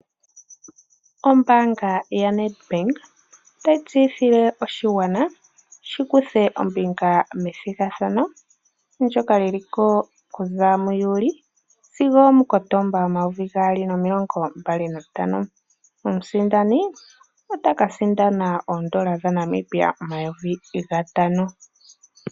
Ombaanga yaNed Bank otayi tseyithile oshigwana shi kuthe ombinga methigathano ndyoka liliko okuza muJuli sigo omuKotomba omayovi gaali nomilongo mbali nantano omusindani otaka sindana oondola dhaNamibia omayovi gatano.